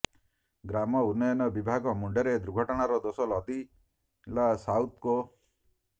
ଗ୍ରାମ୍ୟ ଉନ୍ନୟନ ବିଭାଗ ମୁଣ୍ଡରେ ଦୁର୍ଘଟଣାର ଦୋଷ ଲଦିଲା ସାଉଥକୋ